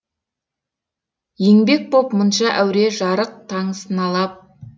енбек боп мұнша әуре жарық таң сыналап